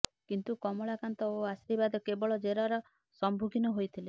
କିନ୍ତୁ କମଳାକାନ୍ତ ଓ ଆଶୀର୍ବାଦ କେବଳ ଜେରାର ସମ୍ମୁଖୀନ ହୋଇଥିଲେ